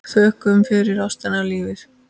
Þökkum fyrir ástina og lífið.